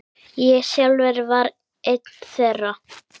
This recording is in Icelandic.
Ég sjálfur var einn þeirra.